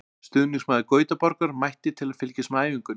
Stuðningsmaður Gautaborgar mætti til að fylgjast með æfingunni.